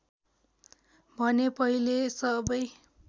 भने पहिले सबै